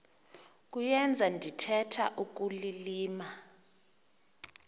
kuyenza ndithetha ukulilima